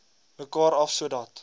mekaar af sodat